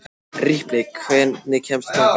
Ripley, hvernig kemst ég þangað?